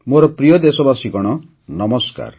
ମୋର ପ୍ରିୟ ଦେଶବାସୀଗଣ ନମସ୍କାର